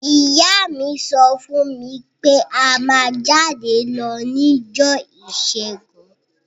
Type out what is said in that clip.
Ìyá mi so fún mí pe a má jáde lo nijọ́ ìsẹ́gun